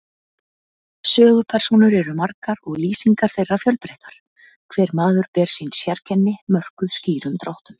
Sögupersónur eru margar og lýsingar þeirra fjölbreyttar, hver maður ber sín sérkenni, mörkuð skýrum dráttum.